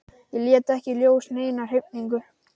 Ég lét ekki í ljós neina hrifningu.